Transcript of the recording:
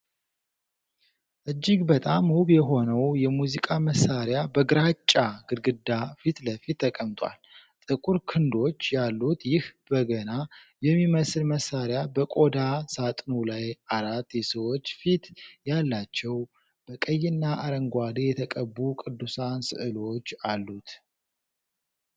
እጅግ በጣም ውብ የሆነው የሙዚቃ መሣሪያ በግራጫ ግድግዳ ፊት ለፊት ተቀምጧል። ጥቁር ክንዶች ያሉት ይህ በገና የሚመስል መሣሪያ በቆዳ ሳጥኑ ላይ አራት የሰዎች ፊት ያላቸው በቀይና አረንጓዴ የተቀቡ ቅዱሳን ሥዕሎች አሉት።